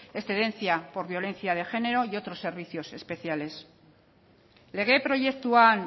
excedencia por violencia de género y otros servicios especiales lege proiektuan